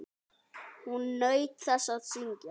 Hún naut þess að syngja.